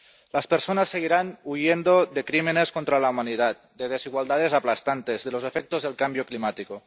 Las personas seguirán huyendo de crímenes contra la humanidad, de desigualdades aplastantes, de los efectos del cambio climático.